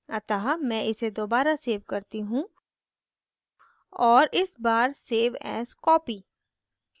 अतः मैं इसे दोबारा so करती हूँ और इस बार save as copy